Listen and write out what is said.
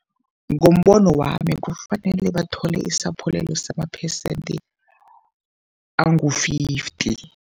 Ngombono wami kufanele bathole isaphulelo samaphesente angu-fifty.